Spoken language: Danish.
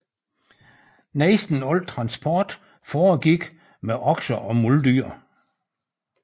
Næsten al transport foregik med okser og muldyr